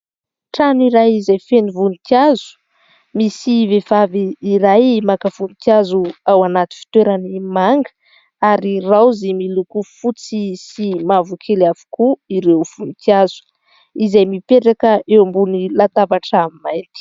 Trano iray izay feno voninkazo. Misy vehivavy iray maka voninkazo anaty fitoerany manga ary raozy miloko fotsy sy mavokely avokoa ireo voninkazo izay mipetraka eo ambony latabatra mainty.